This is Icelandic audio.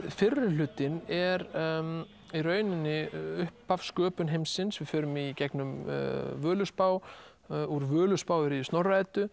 fyrri hlutinn er í rauninni upphaf og sköpun heimsins við förum í gegnum Völuspá úr Völuspá í Snorra Eddu